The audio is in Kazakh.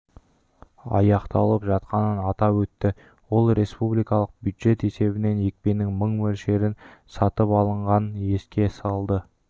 аяқталып жатқанын атап өтті ол республикалық бюджет есебінен екпенің мың мөлшері сатып алынғанын еске салды